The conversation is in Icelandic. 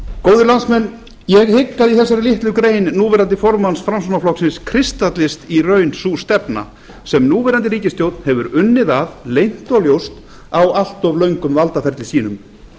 góðir landsmenn ég hygg að í þessari litlu grein núverandi formanns framsóknarflokksins kristallist í raun sú stefna sem núverandi ríkisstjórn hefur unnið að leynt og ljóst á allt of löngum valdaferli sínum